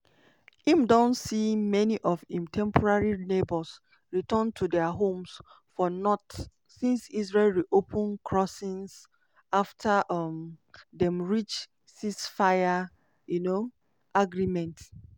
im don see many of im temporary neighbours return to dia homes for north since israel reopen crossings afta um dem reach ceasefire um agreement.